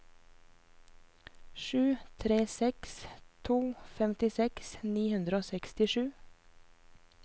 sju tre seks to femtiseks ni hundre og sekstisju